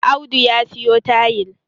Audu ya siyo tayil